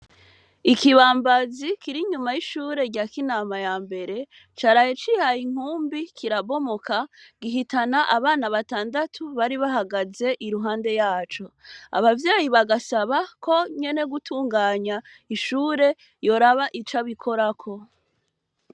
Ikibambazi kirinyuma y’ishure rya kinama yambere , caraye cihaye inkumbi kirabomoka gihitana abana batandatu bari bahagaze iruhande yaco, abavyeyi bagasabako nyene gutunganya ishure yoraba ico abikoraho.